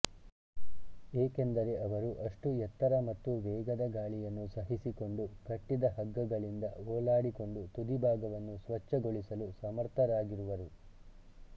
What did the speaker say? ಏಕೆಂದರೆ ಅವರು ಅಷ್ಟು ಎತ್ತರ ಮತ್ತು ವೇಗದ ಗಾಳಿಯನ್ನು ಸಹಿಸಿಕೊಂಡು ಕಟ್ಟಿದ ಹಗ್ಗಗಳಿಂದ ಓಲಾಡಿಕೊಂಡು ತುದಿ ಭಾಗವನ್ನು ಸ್ವಚ್ಛಗೊಳಿಸಲು ಸಮರ್ಥರಾಗಿರುವರು